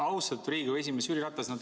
Austatud Riigikogu esimees Jüri Ratas!